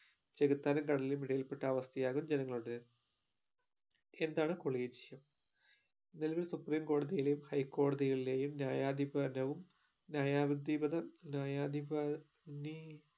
ചെകുത്താനും കടലിനും ഇടയിൽപെട്ട അവസ്ഥയാകും ജനങ്ങളുടേത് എന്താണ് collegium നിലവിൽ supreme കോടതിയിലെയും high കോടതികളിലെയും ന്യായാധിപനവും ന്യായായിതിപഥ ന്യായത്തി ഏർ നീ